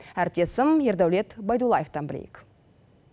әріптесім ердәулет байдуллаевтан білейік